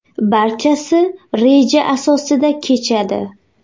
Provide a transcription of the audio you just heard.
Barchasi reja asosida kechadi.